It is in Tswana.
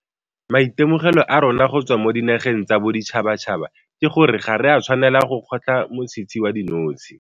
Maitemogelo a rona go tswa mo dinageng tsa boditšhabatšhaba ke gore ga re a tshwanela go kgotlha motshitshi wa dinotshe.